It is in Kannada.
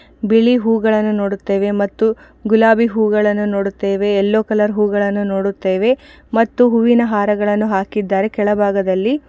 ಬಿಳಿ ಹೂಗಳನ್ನು ನೋಡುತ್ತೇವೆ ಮತ್ತು ಗುಲಾಬಿ ಹೂಗಳನ್ನು ನೋಡುತ್ತೇವೆ ಯೆಲ್ಲೋ ಕಲರ್ ಹೂಗಳನ್ನು ನೋಡುತ್ತೇವೆ ಮತ್ತು ಹೂವಿನ ಹಾರಗಳನ್ನು ಹಾಕಿದ್ದಾರೆ ಕೆಳ ಭಾಗದಲ್ಲಿ.